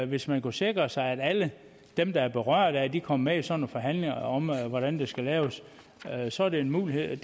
hvis man kunne sikre sig at alle dem der er berørt af det kom med i sådan nogle forhandlinger om hvordan det skal laves så er det en mulighed